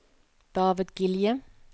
David Gilje